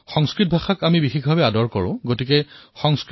সংস্কৃতং ভাষা বয়মত্ৰ বহঃ বহঃ অত্ৰঃ সম্ভাষণমঅপি কুৰ্মঃ